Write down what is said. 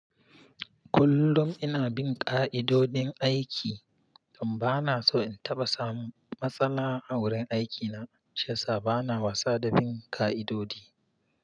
Kullum ina bin ƙa'idodin aiki don ba na so in taɓa samun matsala a wurin aikina. Shiya sa ba na wasa da bin ƙa'idodi.